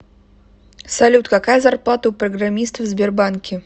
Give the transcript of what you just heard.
салют какая зарплата у программистов в сбербанке